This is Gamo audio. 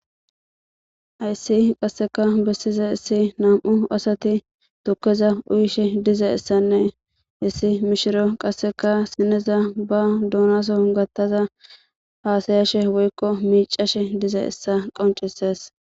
Hayssi qasseka bessiza issi nam7u asati tokkeza uyishe diza essanne issi mishiro qasseka sineza ba duunaso gattaza haasayashe woykko miicashe diza essa qoncises.